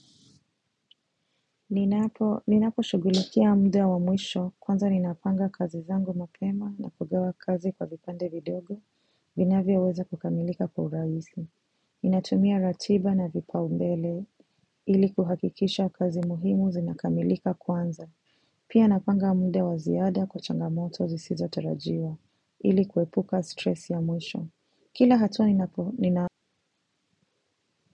Ninapo shugulikia mda wa mwisho kwanza ninapanga kazi zangu mapema na kugawa kazi kwa vipande vidogo vinavyo weza kukamilika kwa uraisi. Ninatumia ratiba na vipau mbele ili kuhakikisha kazi muhimu zinakamilika kwanza. Pia napanga mda wa ziada kwa changamoto zisizo tarajiwa ili kuepuka stress ya mwisho. Kila hatua ninako nina.